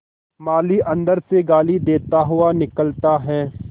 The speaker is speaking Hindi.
माली अंदर से गाली देता हुआ निकलता है